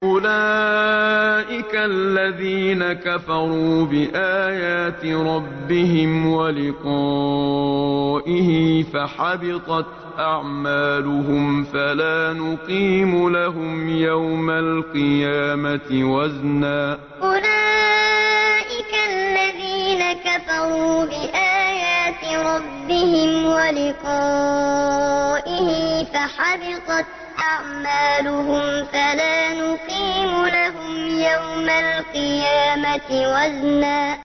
أُولَٰئِكَ الَّذِينَ كَفَرُوا بِآيَاتِ رَبِّهِمْ وَلِقَائِهِ فَحَبِطَتْ أَعْمَالُهُمْ فَلَا نُقِيمُ لَهُمْ يَوْمَ الْقِيَامَةِ وَزْنًا أُولَٰئِكَ الَّذِينَ كَفَرُوا بِآيَاتِ رَبِّهِمْ وَلِقَائِهِ فَحَبِطَتْ أَعْمَالُهُمْ فَلَا نُقِيمُ لَهُمْ يَوْمَ الْقِيَامَةِ وَزْنًا